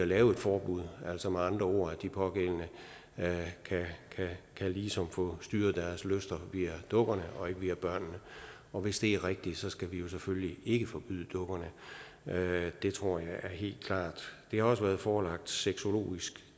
laves et forbud altså man ord at de pågældende ligesom kan få styret deres lyster via dukkerne og ikke via børnene og hvis det er rigtigt skal vi selvfølgelig ikke forbyde dukkerne det tror jeg er helt klart det har også været forelagt sexologisk